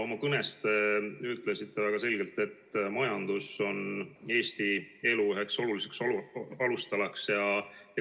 Oma kõnes te ütlesite väga selgelt, et majandus on Eesti elu üks olulisi alustalasid.